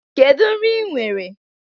Kedu nri ị nwere?